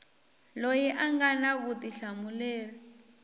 loyi a nga na vutihlamuleri